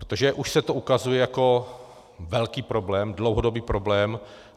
Protože už se to ukazuje jako velký problém, dlouhodobý problém.